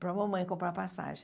para a mamãe comprar passagem.